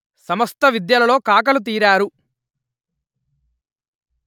సమస్త విద్యలలో కాకలు తీరారు